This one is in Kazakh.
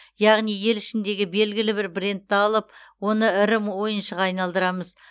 яғни ел ішіндегі белгілі бір брендті алып оны ірі ойыншыға айналдырамыз